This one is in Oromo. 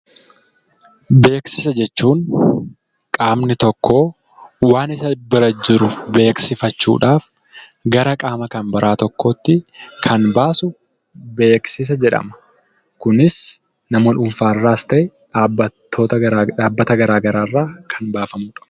Beeksisa jechuun qaamni tokkoo waan isa bira jiru beeksifachuudhaaf gara qaama kan biraa tokkootti kan baasuu beeksisa jedhama. Kunis nama dhuunfaa irraas ta'ee dhaabbata garaa garaa irraa kan baafamuudha.